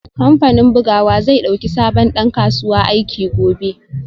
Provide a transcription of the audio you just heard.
Kamfanin bugawa zai dauki sabon dan kasuwa aiki gobe